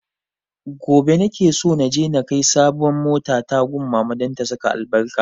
Gobe na ke so naje na kai sabon mota na gun mama don ta saka albarka